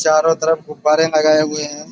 चारों तरफ गुब्बारें लगाए हुए हैं।